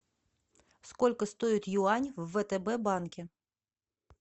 сколько стоит юань в втб банке